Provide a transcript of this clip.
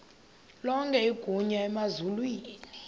lonke igunya emazulwini